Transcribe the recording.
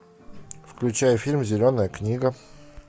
включай фильм зеленая книга